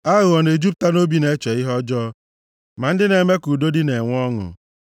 Aghụghọ na-ejupụta nʼobi na-eche ihe ọjọọ; ma ndị na-eme ka udo dị na-enwe ọṅụ.